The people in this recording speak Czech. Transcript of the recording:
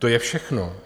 To je všechno.